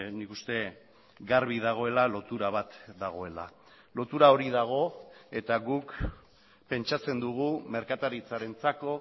nik uste garbi dagoela lotura bat dagoela lotura hori dago eta guk pentsatzen dugu merkataritzarentzako